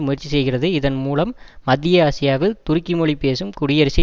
முயற்சி செய்கிறது இதன்மூலம் மத்திய ஆசியாவில் துருக்கி மொழி பேசும் குடியரசை